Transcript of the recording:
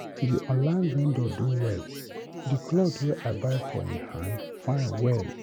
That online vendor do well, the cloth wey I buy for him hand fine well.